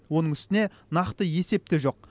оның үстіне нақты есеп те жоқ